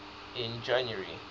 in january